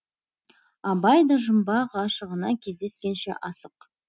абай да жұмбақ ғашығына кездескенше асық